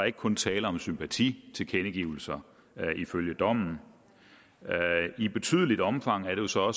ikke kun tale om sympatitilkendegivelser ifølge dommen i betydeligt omfang er det så